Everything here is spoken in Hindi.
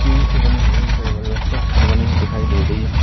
टीन से बनी हुई इस साइकिल में बनी हुई दिखाई दे रही है।